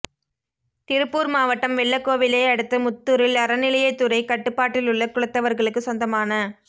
திருப்பூர் மாவட்டம் வெள்ளக்கோவிலை அடுத்த முத்தூரில் அறநிலையத் துறை கட்டுப்பாட்டிலுள்ள குலத்தவர்களுக்குச் சொந்தமான